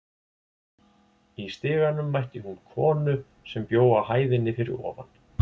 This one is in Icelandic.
Í stiganum mætti hún konu sem bjó á hæðinni fyrir ofan.